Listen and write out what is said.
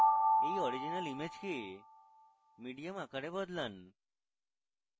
এই original image কে medium আকারে বদলান